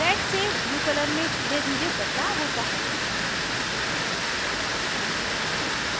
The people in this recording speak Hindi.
red से blue color में धीरेधीरे बदलाव होता है